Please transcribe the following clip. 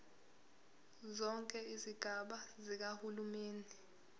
zonke izigaba zikahulumeni